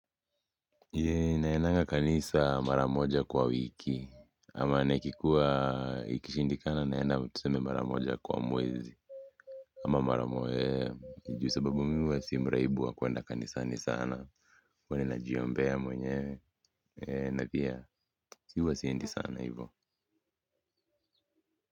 Naenanga kanisa mara moja kwa wiki ama na ikikuwa ikishindikana naenda tuseme mara moja kwa mwezi ama mara mo, juu sababu mimi huwa si mraibu wa kuenda kanisani sana huwa ninajiombea mwenyewe na pia huwa siendi sana hivo.